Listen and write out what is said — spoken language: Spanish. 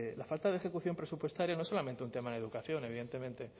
la falta de ejecución presupuestaria no es solamente un tema en educación evidentemente